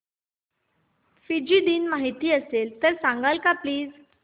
Fiji दिन माहीत असेल तर सांगाल का प्लीज